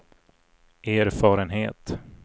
erfarenhet